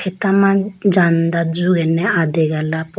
tama jhanda jugene adegala po.